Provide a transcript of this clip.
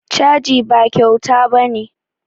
Caji ba kyauta ba ne